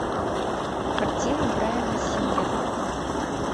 картина брайана сингера